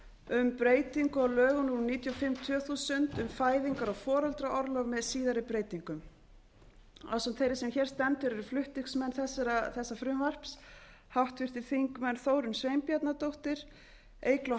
um breyting á lögum númer níutíu og fimm tvö þúsund um fæðingar og foreldraorlof með síðari breytingum ásamt þeirri sem hér stendur eru flutningsmenn þessa frumvarps háttvirtir þingmenn þórunn sveinbjarnardóttir eygló